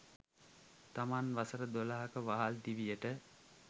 තමන්ගේ වසර දොළහක වහල් දිවියට